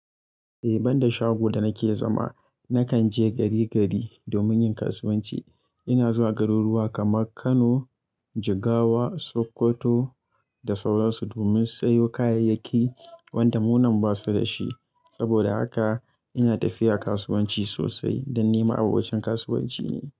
Eh, ban da shago da nake zama, nakan je gari gari domin yin kasuwanci. Ina zuwa garuruwa kamar Kano, Jigawa, Sokoto da sauransu domin sayo kayayyaki wanda munan ba su da shi. Saboda haka ina tafiya kasuwanci sosai don ni ma abokacin kasuwanci ne.